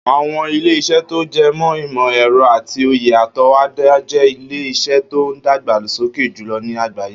Àwo̩n ilé-isé̩ tó je̩ mó̩ ìmò̩-è̩ro̩ àti òye àto̩wó̩dá je̩ ilé-is̩é̩ tó ń dàgbà sókè jùlo̩ ní àgbáyé